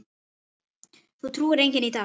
Því trúir enginn í dag.